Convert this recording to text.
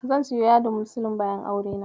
Zan siyo yadin muslin bayan aurena.